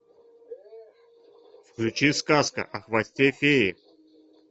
включи сказка о хвосте феи